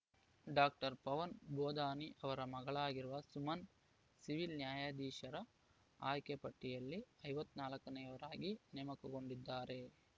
doctor Pavan Bodani ಅವರ ಮಗಳಾಗಿರುವ Suman civil ನ್ಯಾಯಾಧೀಶರ ಆಯ್ಕೆ ಪಟ್ಟಿಯಲ್ಲಿ ಐವತ್ತ್ ನಾಲ್ಕ ನೇಯವರಾಗಿ ನೇಮಕಗೊಂಡಿದ್ದಾರೆ